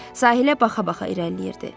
Sahilə baxa-baxa irəliləyirdi.